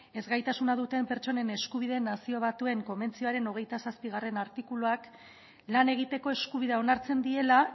ezgaitasuna duten pertsonen eskubideen nazio batuen konbentzioaren hogeita zazpigarrena artikuluak lan egiteko eskubidea onartzen diela